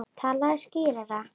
Talaðu skýrar.